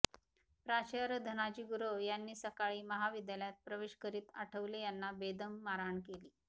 प्राचार्य धनाजी गुरव यांनी सकाळी महाविद्यालयात प्रवेश करीत आठवले यांना बेदम मारहाण केली